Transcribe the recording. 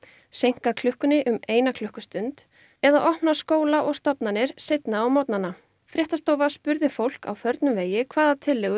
seinka klukkunni um eina klukkustund eða opna skóla og stofnanir seinna á morgnana fréttastofa spurði fólk á förnum vegi hvaða tillögu